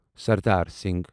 Sardar Singh